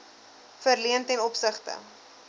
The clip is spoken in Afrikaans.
verleen ten opsigte